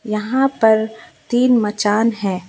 यहां पर तीन मचान है।